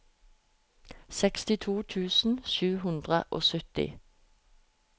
sekstito tusen sju hundre og sytti